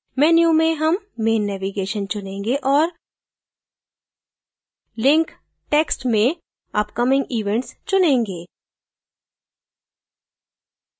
menu में हम main navigation चुनेंगे और link text में upcoming events चुनेंगे